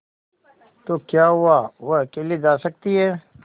तो क्या हुआवह अकेले जा सकती है